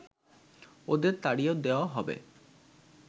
ওদের তাড়িয়ে দেওয়া হবে